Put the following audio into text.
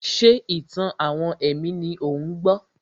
Ṣé ìtàn-àwọn ẹ̀mí ni ò ń gbọ́?